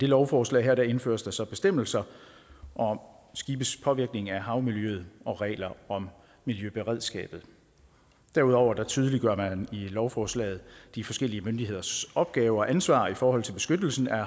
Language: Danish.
lovforslag indføres der så bestemmelser om skibes påvirkning af havmiljøet og regler om miljøberedskabet derudover tydeliggør lovforslaget de forskellige myndigheders opgaver og ansvar i forhold til beskyttelsen af